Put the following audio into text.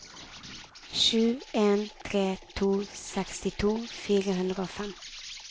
sju en tre to sekstito fire hundre og fem